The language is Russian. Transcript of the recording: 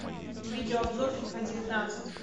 видео обзор фифа девятнадцать